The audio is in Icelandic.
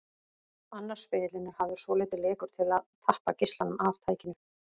Annar spegillinn er hafður svolítið lekur til að tappa geislanum af tækinu.